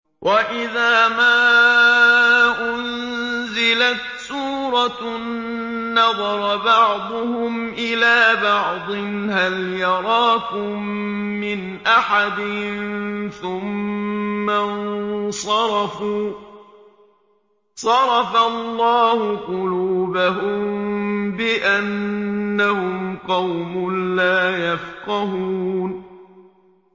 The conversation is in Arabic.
وَإِذَا مَا أُنزِلَتْ سُورَةٌ نَّظَرَ بَعْضُهُمْ إِلَىٰ بَعْضٍ هَلْ يَرَاكُم مِّنْ أَحَدٍ ثُمَّ انصَرَفُوا ۚ صَرَفَ اللَّهُ قُلُوبَهُم بِأَنَّهُمْ قَوْمٌ لَّا يَفْقَهُونَ